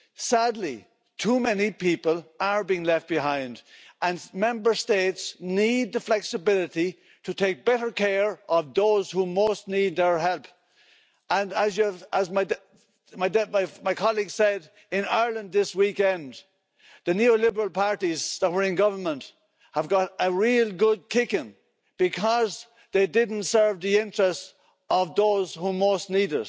Sadly, too many people are being left behind and Member States need the flexibility to take better care of those who most need our help and as my colleague said, in Ireland this weekend, the neoliberal parties that were in government got a real good kicking because they didn't serve the interests of those who most need